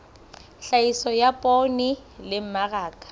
tlhahiso ya poone le mmaraka